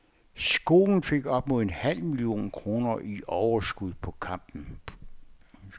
Skolen fik op mod en halv million kroner i overskud på kampen.